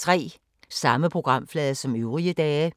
Samme programflade som øvrige dage